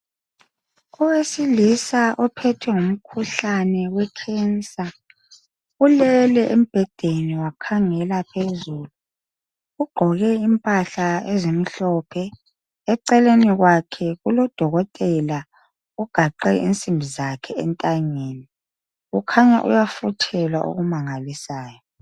Owesilisa ophethwe ngumkhuhlane wecancer ulele embhedeni wakhangela phezulu ugqoke impahla ezimhlophe, eceleni kwakhe kulodokotela ugaxe insimbi zakhe entanyeni ukhanya uyafuthelwa okumangalisayo.